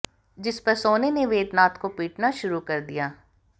जिस पर सोने ने वेदनाथ को पीटना शुरू कर दिया